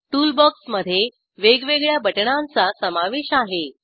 toolbox मधे वेगवेगळ्या बटणांचा समावेश आहे